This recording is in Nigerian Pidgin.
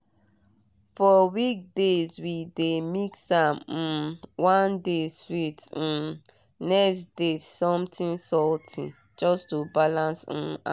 for weekdays we dey mix am um one day sweet um next day something salty just to balance um am.